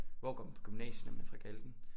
Hvor går man på gymnasiet når man er fra Galten